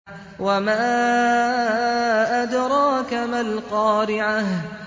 وَمَا أَدْرَاكَ مَا الْقَارِعَةُ